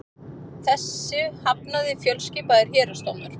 Þessu hafnaði fjölskipaður héraðsdómur